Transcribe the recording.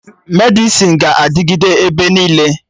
Medịsịn ga-adịgịde ebe niile